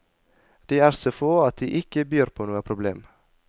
De er så få at det ikke byr på noe problem.